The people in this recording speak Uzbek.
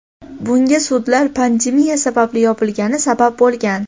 Bunga sudlar pandemiya sababli yopilgani sabab bo‘lgan.